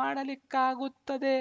ಮಾಡಲಿಕ್ಕಾಗುತ್ತದೆ